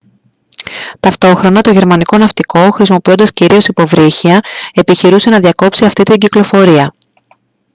ταυτόχρονα το γερμανικό ναυτικό χρησιμοποιώντας κυρίως υποβρύχια επιχειρούσε να διακόψει αυτή την κυκλοφορία